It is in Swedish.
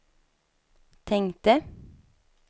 tänkte